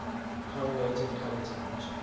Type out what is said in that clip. correlated color temperature